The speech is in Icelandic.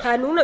það er núna